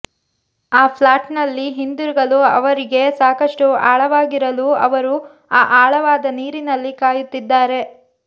ಆ ಫ್ಲಾಟ್ನಲ್ಲಿ ಹಿಂತಿರುಗಲು ಅವರಿಗೆ ಸಾಕಷ್ಟು ಆಳವಾಗಿರಲು ಅವರು ಆ ಆಳವಾದ ನೀರಿನಲ್ಲಿ ಕಾಯುತ್ತಿದ್ದಾರೆ